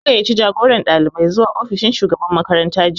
An gayyaci jagoran ɗalibai zuwa ofishin shugaban makaranta jiya